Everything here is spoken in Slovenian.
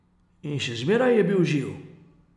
In še zmeraj je bil živ.